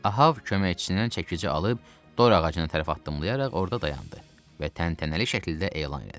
Ahav köməkçisindən çəkici alıb, dor ağacına tərəf addımlayaraq orda dayandı və təntənəli şəkildə elan elədi.